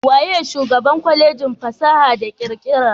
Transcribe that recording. Waye shugaban Kwalejin fasaha da kirkira?